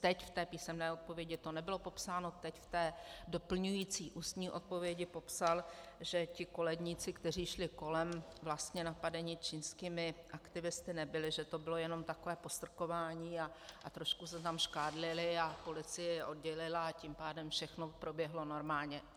Teď v té písemné odpovědi to nebylo popsáno, teď v té doplňující ústní odpovědi popsal, že ti koledníci, kteří šli kolem, vlastně napadeni čínskými aktivisty nebyli, že to bylo jenom takové postrkování a trošku se tam škádlili a policie je oddělila, a tím pádem všechno proběhlo normálně.